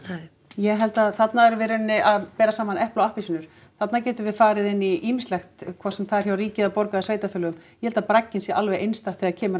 ég held að þarna erum við í rauninni að bera saman epli og appelsínur þarna getum við farið inn í ýmislegt hvort sem er hjá ríki eða sveitarfélögum ég held að bragginn sé alveg einstakt þegar kemur að